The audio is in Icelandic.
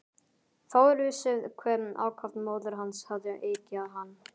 Fáir vissu hve ákaft móðir hans hafði eggjað hann.